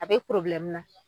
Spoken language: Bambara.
A be na